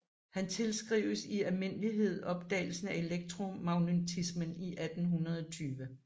Han tilskrives i almindelighed opdagelsen af elektromagnetismen i 1820